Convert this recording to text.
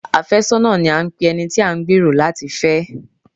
Afẹ́sọ́nà ni à ń pe ẹni tí a ń gbẹ̀rò láti fẹ́.